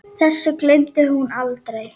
Þessu gleymdi hún aldrei.